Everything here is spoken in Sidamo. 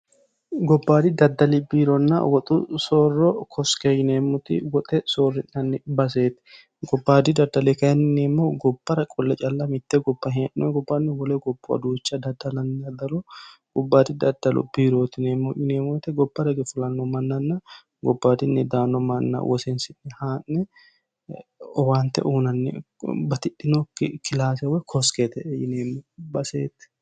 gobbaadi daddali biironna woxu soorro koske yineemmoti woxe soorri'nanni baseeti gobbaadi daddali kayinni yulineemmo gobbara qolle calla mitte goba hee'noe gobbaanni wole gopo aduucha daddalanni aldalo gubbaadi daddalu biirootineemmo yineemmote gobbara ge fulanno mannanna gobbaadinni daanno manna woseensinni haa'ne owaante uunanni batidhinookki kilaase woyi koskeete yineemmo baseeti